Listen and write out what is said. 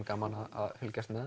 gaman að fylgjast með